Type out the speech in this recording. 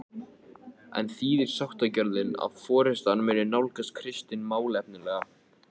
En þýðir sáttagjörðin að forystan muni nálgast Kristin málefnalega?